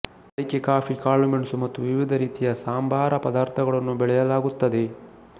ಅಡಿಕೆ ಕಾಫಿ ಕಾಳುಮೆಣಸು ಮತ್ತು ವಿವಿಧ ರೀತಿಯ ಸಾಂಬಾರ ಪದಾರ್ಥಗಳನ್ನು ಬೆಳೆಯಲಾಗುತ್ತದೆ